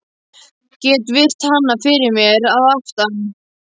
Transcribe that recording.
Get virt hana fyrir mér að aftan.